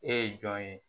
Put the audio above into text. E ye jɔn ye